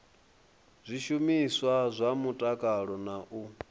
zwishumiswa zwa mutakalo na u